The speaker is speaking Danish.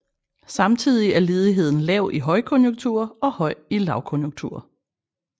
Samtidig er ledigheden lav i højkonjunkturer og høj i lavkonjunkturer